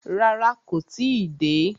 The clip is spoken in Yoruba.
Rárá, kó tí ì dé.